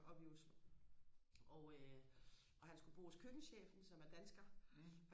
oppe i Oslo og øh og han skulle bo hos køkkenchefen som er dansker